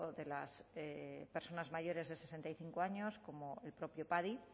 de las personas mayores de sesenta y cinco años como el propio padi